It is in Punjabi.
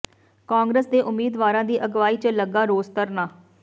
ਕਾਂਗਰਸ ਦੇ ਉਮੀਦਵਾਰਾਂ ਦੀ ਅਗਵਾਈ ਚ ਲੱਗਾ ਰੋਸ ਧਰਨਾ